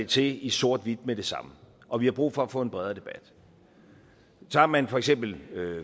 til i sort hvidt med det samme og vi har brug for at få en bredere debat tager man for eksempel